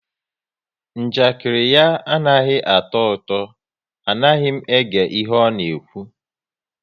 Njakiri ya anaghị atọ ụtọ, anaghị m ege ihe ọ na-ekwu